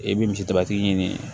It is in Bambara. I bɛ misi daba tigi ɲini